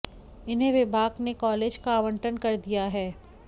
इन्हें विभाग ने कॉलेज का आवंटन कर दिया है